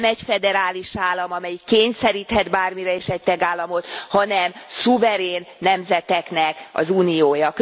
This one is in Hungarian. Nem egy föderális állam, amelyik kényszeríthet bármire is egy tagállamot, hanem szuverén nemzeteknek az uniója.